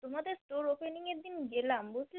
তোমাদের Store opening এর দিন গেলাম বুঝলে?